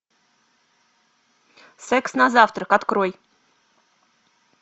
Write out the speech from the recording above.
секс на завтрак открой